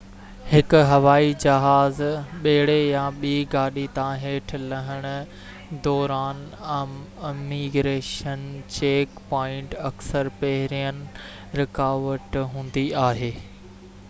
هڪ هوائي جهاز ٻيڙي يا ٻي گاڏي تان هيٺ لهڻ دوران اميگريشن چيڪ پوائنٽ اڪثر پهرين رڪاوٽ هوندي آهي